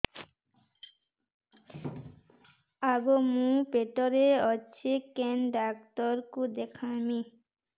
ଆଗୋ ମୁଁ ପେଟରେ ଅଛେ କେନ୍ ଡାକ୍ତର କୁ ଦେଖାମି